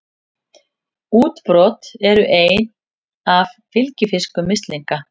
Útbrot eru einn af fylgifiskum mislinga.